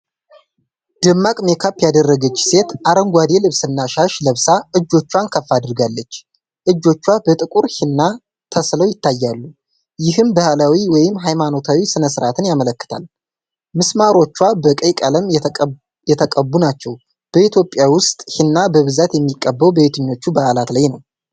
ደማቅ ሜካፕ ያደረገች ሴት አረንጓዴ ልብስና ሻሽ ለብሳ እጆቿን ከፍ አድርጋለች። እጆቿ በጥቁር ሂና ተስለው ይታያሉ፤ ይህም ባህላዊ ወይም ሃይማኖታዊ ሥነ ሥርዓትን ያመለክታል። ምስማሮቿ በቀይ ቀለም የተቀቡ ናቸው። በኢትዮጵያ ውስጥ ሂና በብዛት የሚቀባው በየትኞቹ በዓላት ላይ ነው?